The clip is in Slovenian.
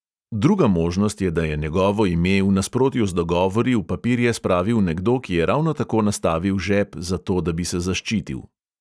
Druga možnost je, da je njegovo ime v nasprotju z dogovori v papirje spravil nekdo, ki je ravno tako nastavil žep, zato, da bi se zaščitil.